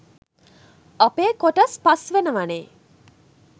අපේ කොටස් පස් වෙනවනේ